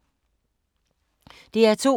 DR2